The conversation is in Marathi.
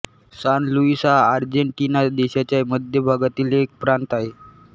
सान लुईस हा आर्जेन्टिना देशाच्या मध्य भागातील एक प्रांत आहे